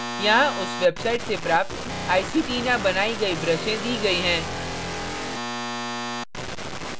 यहाँ उस website से प्राप्त iceytina बनायीं गई ब्रशें दी गई हैं